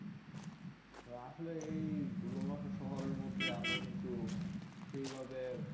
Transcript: আসলে এই ধুলো মাখা শহরের মধ্যে আমরা কিন্তু সেই ভাবে